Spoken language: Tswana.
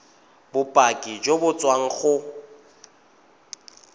bopaki jo bo tswang go